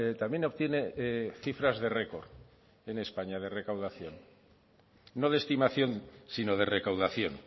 también obtiene cifras de récord de recaudación no de estimación sino de recaudación